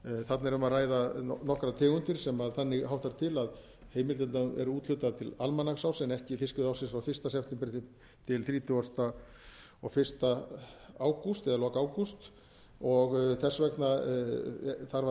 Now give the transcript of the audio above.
þarna er um að ræða nokkrar tegundir sem þannig háttar til að heimildirnar eru úthlutaðar til almanaksárs en ekki fiskveiðiársins frá fyrsta september til þrítugasta og fyrsta ágúst eða lok ágúst þess vegna þarf